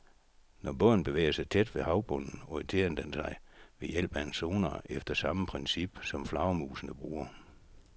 Når båden bevæger sig tæt ved havbunden, orienterer den sig ved hjælp af en sonar efter samme princip, som flagermusene bruger.